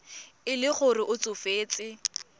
e le gore o tsofetse